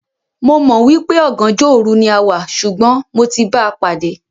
Mò mọ̀ wípé "ọ̀gànjọ́ òru" ni a wá, ṣùgbọ́n mo ti báa pàdé.